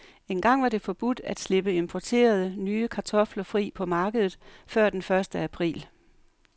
Engang var det forbudt at slippe importerede, nye kartofler fri på markedet før den første april.